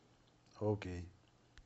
окей